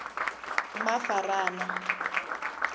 mafarana